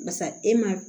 Basa e ma